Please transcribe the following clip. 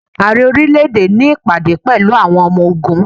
Ààrẹ orílẹ̀ èdè ní ìpàdé pẹ̀lú àwọn ọmọ ogún.